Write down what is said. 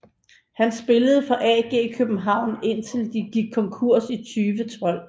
Han spillede for AG København indtil de gik konkurs i 2012